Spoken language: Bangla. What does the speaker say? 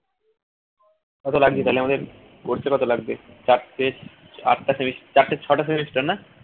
কত লাগছে তাহলে আমাদের করতে কত লাগবে চারটে আটটা সেমিস ছটা semester না